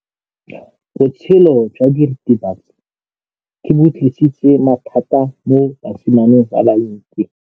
Botshelo jwa diritibatsi ke bo tlisitse mathata mo basimaneng ba bantsi.